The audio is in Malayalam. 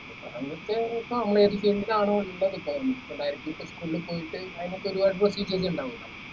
എന്നിട്ട് ഇപ്പൊ ആണോ എന്ത് എടുത്താലും ഉള്ളിൽ പോയിട്ട് അയിനൊക്കെ ഒരുപാട് procedures ഇണ്ടാവുല്ലോ